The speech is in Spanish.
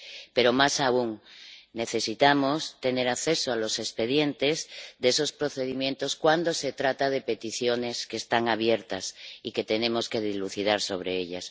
Pero, más aún, necesitamos tener acceso a los expedientes de esos procedimientos cuando se trata de peticiones que están abiertas y tenemos que dilucidar sobre ellas.